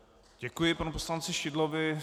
Děkuji panu poslanci Šidlovi.